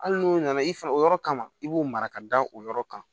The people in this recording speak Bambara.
Hali n'u nana i fɛ o yɔrɔ kama i b'o mara ka da o yɔrɔ kan